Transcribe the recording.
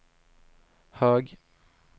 hög